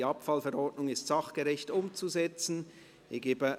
Die Abfallverordnung ist sachgerecht umzusetzen!».